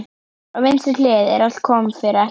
Á vinstri hlið, en allt kom fyrir ekki.